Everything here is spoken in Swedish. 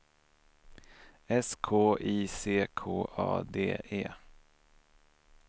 S K I C K A D E